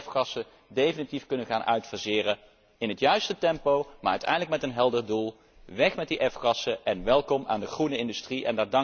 We gaan de F gassen definitief uitfaseren, in het juiste tempo, maar uiteindelijk met een helder doel weg met die F gassen en welkom aan de groene industrie.